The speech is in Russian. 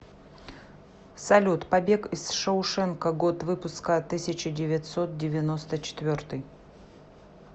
салют побег из шоушенка год выпуска тысяча девятьсот девяносто четвертый